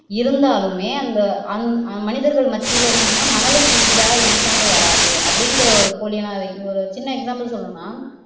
இருந்தாலுமே அந்த அந் மனிதர்கள் மத்தில என்னன்னா மணலுக்கு ஈடா m sand வராது அப்படிங்கிற ஒரு னால ஒரு சின்ன example சொல்லனும்னா